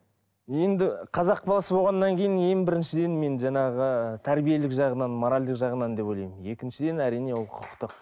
енді қазақ баласы болғаннан кейін ең біріншіден мен жаңағы тәрбиелік жағынан моральдік жағынан деп ойламын екіншіден әрине ол құқықтық